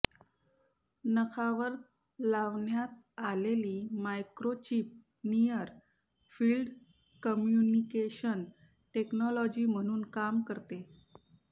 नखावर लावण्यात आलेली microchip near field communication technology म्हणून काम करते